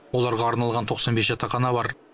оларға арналған тоқсан бес жатақхана бар